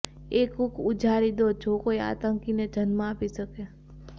એ કૂખ ઉજાડી દો જે કોઈ આતંકીને જન્મ આપી શકે